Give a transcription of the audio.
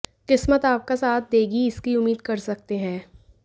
किस्मत आपका साथ देगी इसकी उम्मीद कर सकते हैं